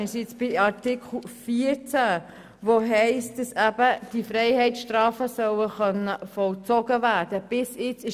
Wir sind jetzt bei Artikel 14, in dem steht, dass diese Freiheitsstrafen eben vollzogen werden können sollen.